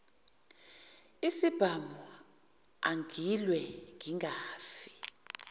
isibhamu angilwe ngingafi